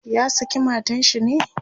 ya saki matan shi ne?